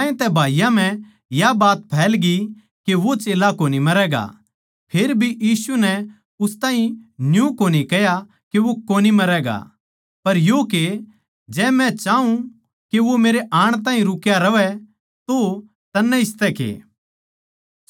ज्यांतै भाईयाँ म्ह या बात फैलगी के वो चेल्ला कोनी मरैगा फेरभी यीशु नै उसतै न्यू कोनी कह्या के वो कोनी मरैगा पर यो के जै मै चाऊँ के वो मेरै आण ताहीं रुक्या रहवै तो तन्नै इसतै के